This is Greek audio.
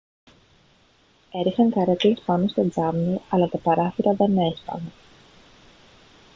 έριχναν καρέκλες πάνω στα τζάμια αλλά τα παράθυρα δεν έσπαγαν